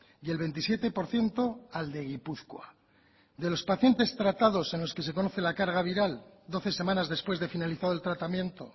y el veintisiete por ciento al de gipuzkoa de los pacientes tratados en los que se conoce la carga viral doce semanas después de finalizado el tratamiento